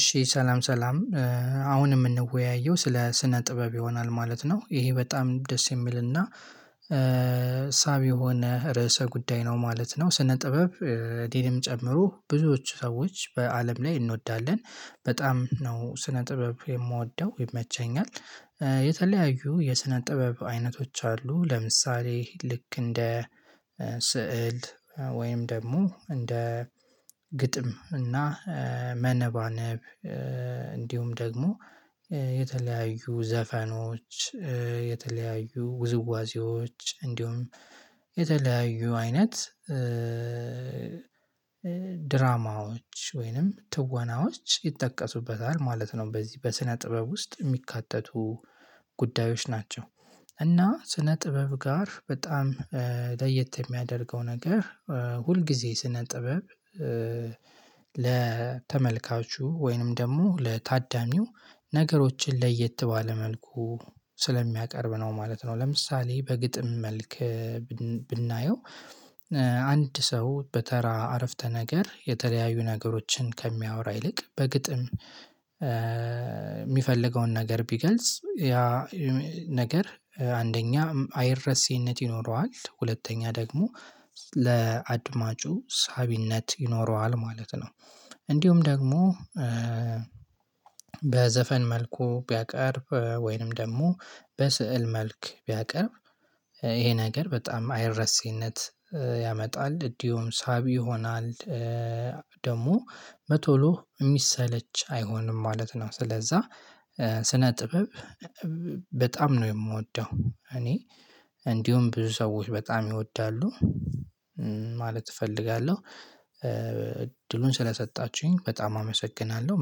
እሺ ሰላም ሰላም። አሁን የምንወያየው ስለ ስነ ጥበብ ይሆናል ማለት ነው። ይሄ በጣም ደስ የሚልና ሳቢ የሆነ ርዕሰ ጉዳይ ነው ማለት ነው። ስነ ጥበብ። እኔንም ጨምሮ ብዙዎቹ ሰዎች በአለም ላይ እንወዳለን በጣም ነው ስነ ጥበብ የምወደው ይመቸኛል። የተለያዩ የሰነ ጥበብ አይነቶች አሉ። ለምሳሌ ልክ እንደ ስዕል ወይም ደግሞ እንደ ግጥም እና መነባነብ እንዲሁም ደግሞ የተለያዩ ዘፈኖች የተለያዩ ውዝዋዜዎች እንዲሁም የተለያዩ አይነት ድራማዎች ወይንም ትወናዎች ይጠቀሱበታል ማለት ነው። በዚህ በስነ ጥበብ ውስጥ የሚካተቱ ጉዳዮች ናቸው። እና ስነ ጥበብ ጋር በጣም ለየት የሚያደርገው ነገር ሁል ጊዜ ስነ ጥበብ ለተመልካቹ ወይንም ደግሞ ለታዳሚው ነገሮችን ለየት ባለ መልኩ ስለሚያቀርብ ነው ማለት ነው። ለምሳሌ በግጥም መልክ ብናየው አንድ ሰው በተራ አረፍተ ነገር የተለያዩ ነገሮችን ከሚያወራ ይልቅ በግጥም የሚፈልገውን ነገር ቢገልጽ ያ ነገር አንደኛ አይረስህነት ይኖረዋል። ሁለተኛ ደግሞ ለአድማጩ ሳቢነት ይኖረዋል ማለት ነው። እንዲሁም ደግሞ በዘፈን መልኩ ቢያቀርብ ወይንም ደግሞ በስዕል መልክ ቢያቀርብ ይሄ ነገር በጣም አይረሴነት ያመጣል እንዲሁም ሳቢ ይሆናል ደግሞ በቶሎ የሚሰለች አይሆንም ማለት ነው። ስለዛ ስነ ጥበብ በጣም ነው የምወደው። እኔ እንዲሁም ብዙ ሰዎች በጣም ይወዳሉ ማለት እፈልጋለሁ። እድሉን ስለሰጣችሁኝ በጣም አመሰግናለሁ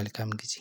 መልካም ጊዜ